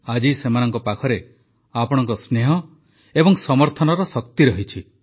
ଆଜି ସେମାନଙ୍କ ପାଖରେ ଆପଣଙ୍କ ସ୍ନେହ ଏବଂ ସମର୍ଥନର ଶକ୍ତି ରହିଛି